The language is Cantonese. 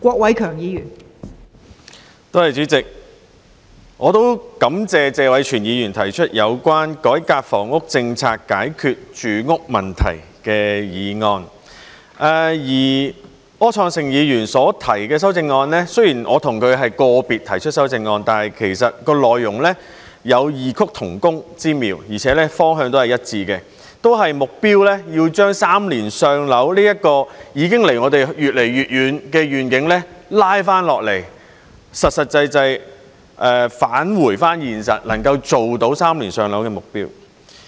我也感謝謝偉銓議員提出有關"改革房屋政策，解決住屋問題"的議案，而柯創盛議員所提出的修正案，雖然我和他是個別提出修正案，但其實內容有異曲同工之妙，而且方向亦是一致的，目標都是要把"三年上樓"這個已經距離我們越來越遠的願景拉下來，實實際際返回現實，能夠做到"三年上樓"的目標。